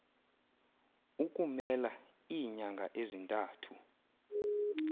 ukummela iinyanga ezintathu